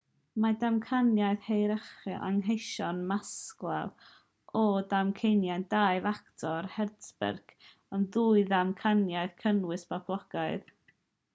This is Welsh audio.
mae damcaniaeth hierarchaeth anghenion maslow a damcaniaeth dau ffactor hertzberg yn ddwy ddamcaniaeth gynnwys boblogaidd